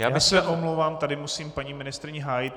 Já se omlouvám, tady musím paní ministryni hájit.